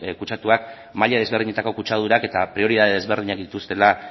kutsatuak maila desberdinetako kutsadurak eta prioridade desberdinak dituztela